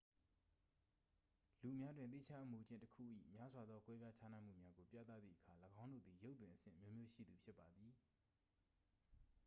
လူများတွင် သီးခြားအမူအကျင့်တစ်ခု၏ များစွာသော ကွဲပြားခြားနားမှုများကိုပြသသည့်အခါ ၎င်းတို့သည် ရုပ်သွင်အဆင့်အမျိုးမျိုးရှိသူဖြစ်ပါသည်